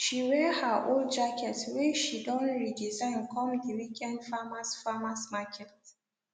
she wear her old jacket whey she don redesign come the weekend farmers farmers market